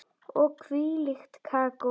Og hvílíkt kakó.